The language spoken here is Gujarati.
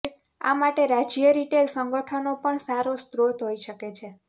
આ માટે રાજ્ય રિટેલ સંગઠનો પણ સારો સ્રોત હોઈ શકે છે